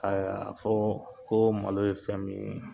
Ɛɛ a fɔ ko malo ye fɛn min ye